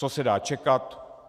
Co se dá čekat?